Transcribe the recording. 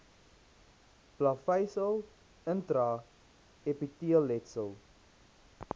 plaveisel intra epiteelletsel